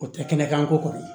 O tɛ kɛnɛkanko kɔni